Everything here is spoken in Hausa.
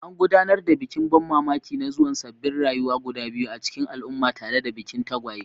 An gudanar da bikin ban mamaki na zuwan sabbin rayuwa guda biyu a cikin al'umma tare da bikin tagwaye.